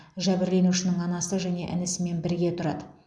жәбірленушінің анасы және інісімен бірге тұрады